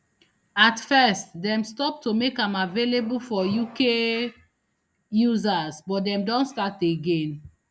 at first dem stop to make am available for uk users but dem don start again